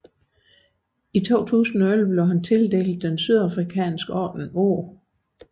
I 2011 blev han tildelt den sydafrikanske Ordenen O